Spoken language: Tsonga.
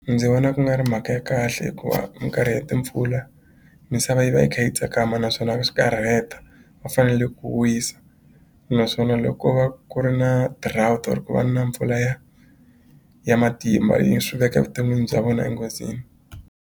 Ndzi vona ku nga ri mhaka ya kahle hikuva mikarhi ya timpfula misava yi va yi kha yi tsakama naswona swi ta rheta va fanele ku wisa naswona loko ko va ku ri na drought or ku va na mpfula ya matimba yi swi veka evuton'wini bya vona enghozini.